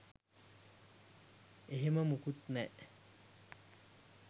එහෙම මොකුත් නෑ.